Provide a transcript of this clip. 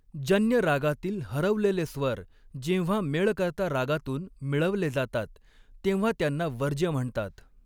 जन्य रागातील हरवलेले स्वर जेव्हा मेळकर्ता रागातून मिळवले जातात, तेव्हा त्यांना वर्ज्य म्हणतात.